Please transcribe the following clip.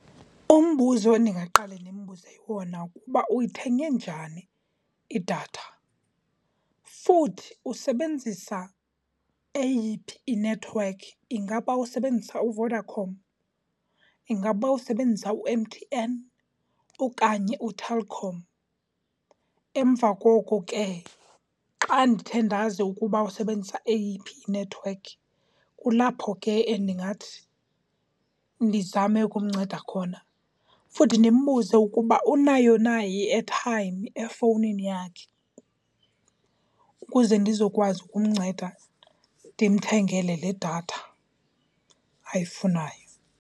Umbuzo endingaqale ndimbuze wona kukuba uyithenge njani idatha futhi usebenzisa eyiphi inethiwekhi. Ingaba usebenzisa uVodacom? Ingaba usebenzisa u-M_T_N okanye uTelkom? Emva koko ke xa ndithe ndazi ukuba usebenzisa eyiphi inethiwekhi, kulapho ke endingathi ndizame ukumnceda khona futhi ndimbuze ukuba unayo na i-airtime efowunini yakhe ukuze ndizokwazi ukumnceda ndimthengele le datha ayifunayo.